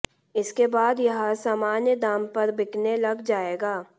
इसके बाद यह सामान्य दाम पर बिकने लग जाएगा